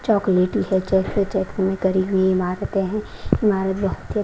चॉकलेटी है करी हुई ईमारतें हैं ईमारत बहुत--